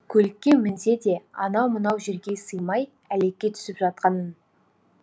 көлікке мінсе де анау мынау жерге сыймай әлекке түсіп жатқанын